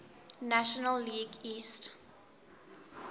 national league east